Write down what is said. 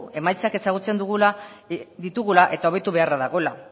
emaitzak ezagutzen ditugula eta hobetu beharra dagoela